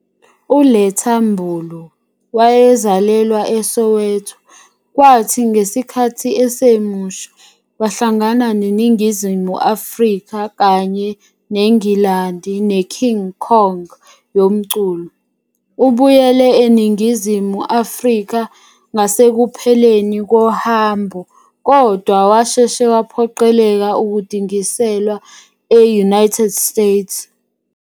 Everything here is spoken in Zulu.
uLetta Mbulu wazalelwa eSoweto kwathi ngesikhathi esemusha, wahlangana neNingizimu Afrika kanye neNgilandi neKing Kong yomculo. Ubuyele eNingizimu Afrika ngasekupheleni kohambo kodwa washeshe waphoqeleka ukudingiselwa e-United States.